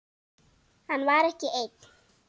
Hann var ekki einn.